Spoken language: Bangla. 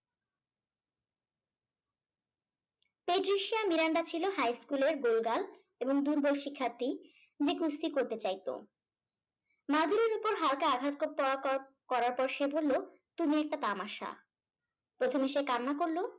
মিরান্ডা ছিল হাই স্কুলের গোল গাল এবং দুর্বল শিক্ষার্থী যে কুস্তি করতে চাইতো। ওপর হালকা আঘাত করত করার করার পর করার পর সে বললো তুমি একটা তামাশা। প্রথমে সে কান্না করলো